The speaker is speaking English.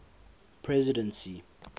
presidency